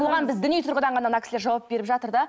оған біз тек діни тұрғыдан ғана мына кісілер жауап беріп жатыр да